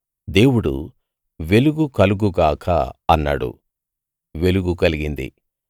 దేవుడు వెలుగు కలుగు గాక అన్నాడు వెలుగు కలిగింది